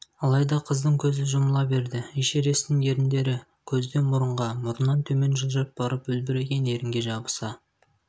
алайда қыздың көзі жұмыла берді эшересттің еріндрі көзден мұрынға мұрыннан төмен жылжып барып үлбіреген ерінге жабыса